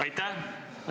Aitäh!